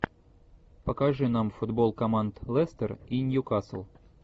покажи нам футбол команд лестер и ньюкасл